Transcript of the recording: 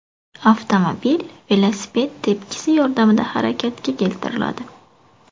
Avtomobil velosiped tepkisi yordamida harakatga keltiriladi.